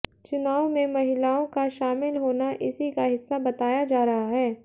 चुनाव में महिलाओं का शामिल होना इसी का हिस्सा बताया जा रहा है